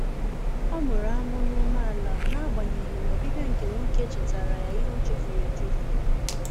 Ọ mụrụ amụ n'umeala na agbanyeghị na ọbịbịa nke nwoke chetara ya ihe ochefuru echefu.